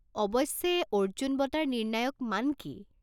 অৱশ্যে, অৰ্জুন বঁটাৰ নিৰ্ণায়ক মান কি?